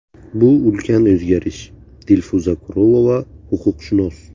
Bu ulkan o‘zgarish”, – Dilfuza Kurolova, huquqshunos.